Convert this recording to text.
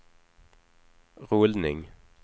rullning